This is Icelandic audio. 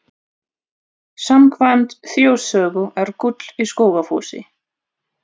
Samkvæmt þjóðsögu er gull í Skógafossi.